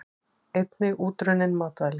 Einnig útrunnin matvæli.